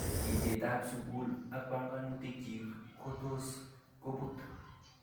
Itet ap sukul ak panganutik chik ko tos koput.